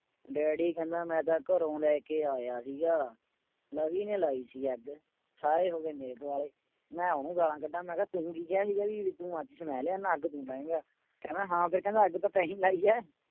Daddy ਕਹਿੰਦਾ ਮੈਂ ਤਾਂ ਘਰੋਂ ਲੈ ਕੇ ਆਇਆ ਸੀਗਾ ਲਵੀ ਨੇ ਲਾਈ ਸੀ ਅੱਗ, ਸਾਰੇ ਹੋ ਗਏ ਮੇਰੇ ਦੁਆਲੇ ਮੈਂ ਉਹਨੂੰ ਗਾਲਾਂ ਕੱਢਾਂ ਮੈਂ ਕਿਹਾ ਤੂੰ ਕੀ ਕਿਹਾ ਸੀਗਾ ਵੀ ਤੂੰ ਮਾਚਿਸ ਮੈਂ ਲਿਆਉਨਾ ਅੱਗ ਤੂੰ ਲਾਏਂਗਾ ਕਹਿੰਦਾ ਹਾਂ ਫਿਰ ਕਹਿੰਦਾ ਅੱਗ ਤਾਂ ਤੈਂ ਹੀ ਲਾਈ ਹੈ।